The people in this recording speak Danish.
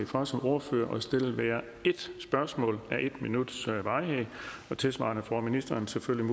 for som ordfører at stille et spørgsmål af en minuts varighed og tilsvarende får ministeren selvfølgelig